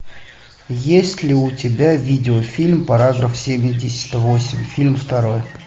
есть ли у тебя видеофильм параграф семьдесят восемь фильм второй